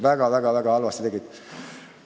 Väga-väga-väga halvasti tegid.